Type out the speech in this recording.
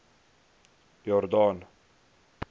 jordaan